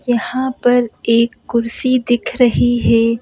यहां पर एक कुर्सी दिख रही है।